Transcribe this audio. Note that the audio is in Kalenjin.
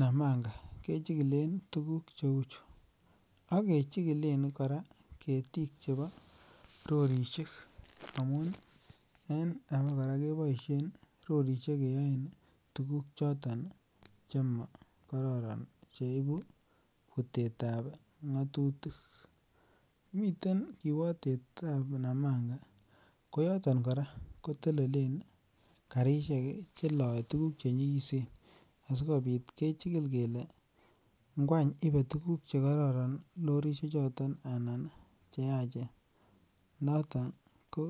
Namanga kechikile tukul cheu chuu ak mechikilen koraa ketik chebo rorishek amun en bakora keboishen rorishek keyoe tukuk choto chemokororon cheibu putetab ngimotutik miten kiwotetab Namanga koyoton Koraa kotelelen karishek cheloe tukuk chenyikisen asikopit kechikil kele ine tukuk chekororon rorishek choton anan cheyach noton ko.